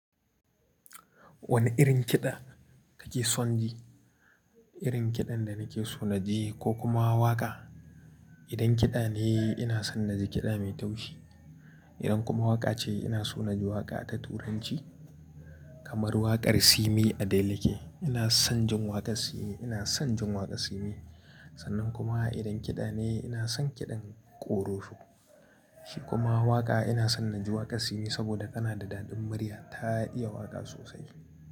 Wane irin kiɗa kake son ji? Irin kiɗan da nake so na ji ko kuma waƙa? Idan kiɗa ne ina son na ji kiɗa mai taushi. Idan kuma waƙa ce ina so na ji waƙa ta Turanci kamar waƙar Simi "Adeleke". Ina son jin waƙar Simi, ina son jin waƙar Simi. Sannan kuma idan kiɗa ne ina son kiɗan korofo. Shi kuma waƙa ina son na ji waƙar Simi saboda tana da daɗin murya. Ta iya waƙa sosai.